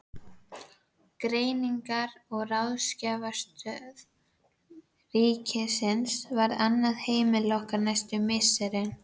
Greiningar- og ráðgjafarstöð ríkisins varð annað heimili okkar næstu misserin.